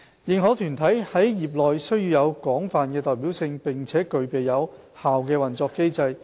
認可團體在業內須具有廣泛的代表性，並具備有效的運作機制。